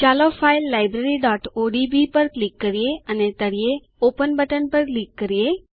ચાલો ફાઈલ libraryઓડીબી પર ક્લિક કરીએ અને તળિયે ઓપન બટન પર ક્લિક કરીએ